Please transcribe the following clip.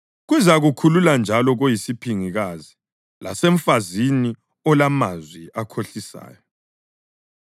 Kuzakukhulula njalo koyisiphingikazi, lasemfazini olamazwi akhohlisayo,